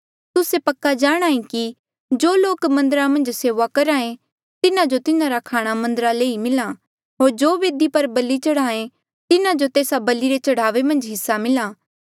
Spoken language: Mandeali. तुस्से पक्का जाणांहे कि जो लोक मन्दरा मन्झ सेऊआ करहा ऐें तिन्हा जो तिन्हारा खाणा मन्दरा ले ई मिल्हा होर जो बेदी पर बलि चढ़ाहें तिन्हा जो तेस्सा बलि रे चढ़ावे मन्झ हिस्सा मिला